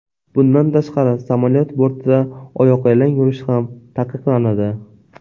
Bundan tashqari samolyot bortida oyoqyalang yurish ham taqiqlanadi.